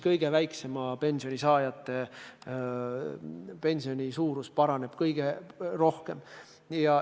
Kõige väiksemat pensionit saavate inimeste pension kasvab kõige rohkem.